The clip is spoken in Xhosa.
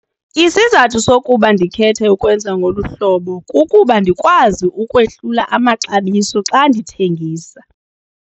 Isizathu sokuba ndikhethe ukwenza ngolu hlobo kukuba ndikwazi ukwehlula amaxabiso xa ndithengisa.